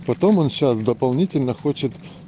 потом он сейчас дополнительно хочет